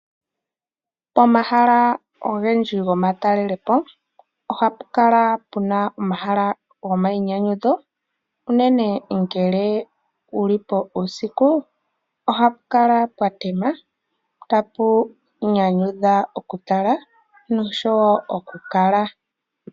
Omahala ongendji gomatalelepo , ohakukala puna omahala go mayinyanyudho unene ngele wulipo usiku ohapukala pwatema tapunyanyudha okutala nosho okukala.